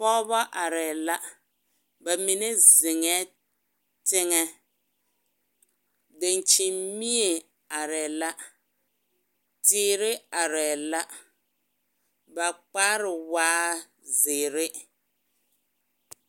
Pɔgeba arɛɛ la ba mine zeŋɛɛ teŋɛ dankyinimie arɛɛ la teere arɛɛ la ba kpare waa zeere.